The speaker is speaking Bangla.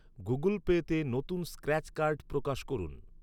গুগল পেতে নতুন স্ক্র্যাচ কার্ড প্রকাশ করুন।